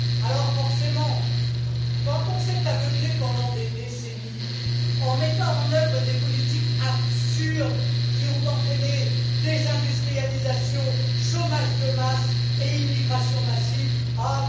Alors, forcément, quand on s'est aveuglé pendant des décennies, en mettant en œuvre des politiques absurdes qui ont entraîné désindustrialisation, chômage de masse et immigration massive, ah!